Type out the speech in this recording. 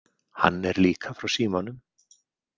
Hann er líka frá Símanum.